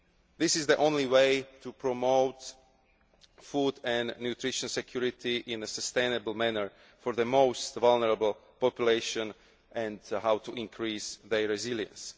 This is the only way to promote food and nutrition security in a sustainable manner for the most vulnerable populations and to increase their resilience.